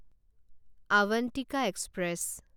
Avantika express